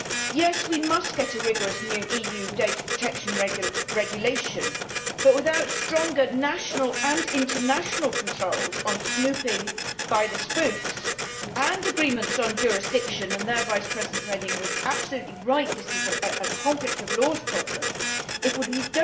Yes, we must get a rigorous new EU data protection regulation, but without stronger national and international controls on snooping by the spooks and agreements on jurisdiction and there Vice President Reding was absolutely right that this is a conflict of laws problem we